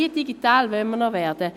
Wie digital wollen wir noch werden?